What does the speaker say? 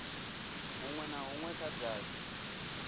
hunwe na hunwe kha davhi